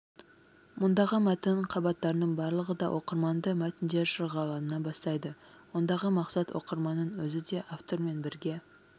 мұндағы мәтін қабаттарының барлығы да оқырманды мәтіндер шырғалаңына бастайды ондағы мақсат оқырманның өзі де автормен бірге